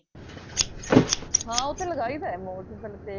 ਹਾਂ ਉਹ ਤਾਂ ਲੱਗਾਈ ਦਾ ਮੋ ਜੀ ਬਲਕੇ